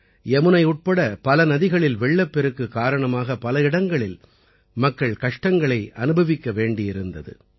யமுனை உட்பட பல நதிகளில் வெள்ளப்பெருக்கு காரணமாக பட இடங்களில் மக்கள் கஷ்டங்களை அனுபவிக்க வேண்டியிருந்தது